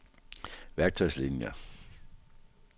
værktøjslinier